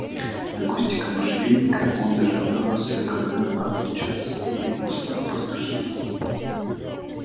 из-за кустика можжевельника он дожидался когда отлучатся или уснут пастухи